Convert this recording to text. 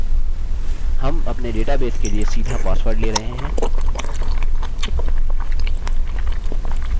हम अपने डेटाबेस के लिए सीधा पासवर्ड ले रहे हैं